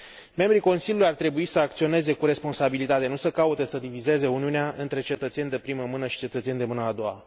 Membrii Consiliului ar trebui să acționeze cu responsabilitate, nu să caute să divizeze Uniunea între cetățeni de primă mână și cetățeni de mâna a doua.